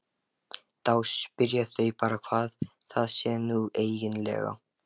Þá spyrja þau bara hvað það sé nú eiginlega.